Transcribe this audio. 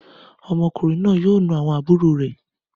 Ọmọkùnrin náà yóò na àwọn àbúrò rẹ